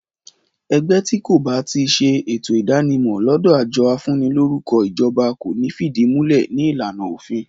Ẹgbẹ́ ti kò ba tíì ṣe ètò ìdánimọ̀ lódò àjọ afúnilórúkọ ìjọba kò ní fídìmúlẹ̀ ní ìlànà òfin